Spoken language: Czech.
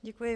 Děkuji.